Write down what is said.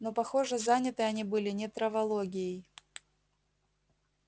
но похоже заняты они были не травологией